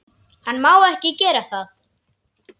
Hann má ekki gera það.